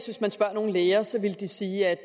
hvis man spørger nogle læger så vil de sige at